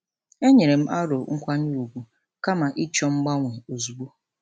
E nyerem aro nkwanye ùgwù kama ịchọ mgbanwe ozugbo.